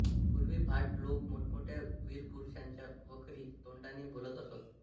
पूर्वी भाट लोक मोठमोठ्या वीरपुरुषांच्या बखरी तोंडाने बोलत असत